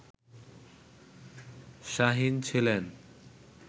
শাহীন ছিলেন